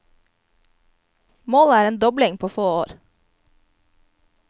Målet er en dobling på få år.